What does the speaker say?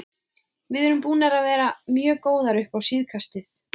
Við erum búnir að vera mjög góðir upp á síðkastið.